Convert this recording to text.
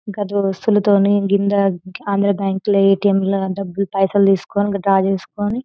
గట్ల దుస్తుల తోని ఆంధ్ర బ్యాంకుల ఎ.టీ.ఎం ల డబ్బు లు పైసల్ తీసుకొని డ్రా చేసుకొని --